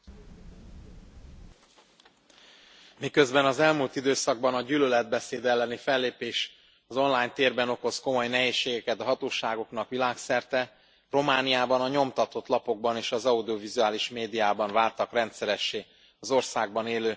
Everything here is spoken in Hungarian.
Miközben az elmúlt időszakban a gyűlöletbeszéd elleni fellépés az online térben okoz komoly nehézségeket a hatóságoknak világszerte, Romániában a nyomtatott lapokban és az audiovizuális médiában váltak rendszeressé az országban élő magyar kisebbség elleni uszító üzenetek.